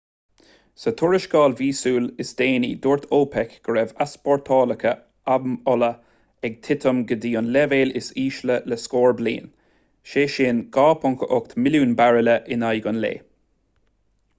sa tuarascáil mhíosúil is déanaí dúirt opec go raibh easpórtálacha amhola ag titim go dtí an leibhéal is ísle le scór bliain sé sin 2.8 milliún bairille in aghaidh an lae